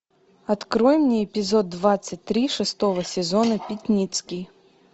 открой мне эпизод двадцать три шестого сезона пятницкий